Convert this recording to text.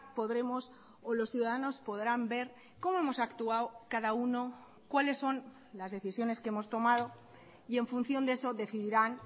podremos o los ciudadanos podrán ver cómo hemos actuado cada uno cuáles son las decisiones que hemos tomado y en función de eso decidirán